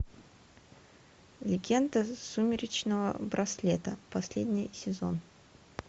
легенда сумеречного браслета последний сезон